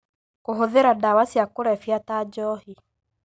Kũhũthĩra ndawa cia kũrebia ta njohi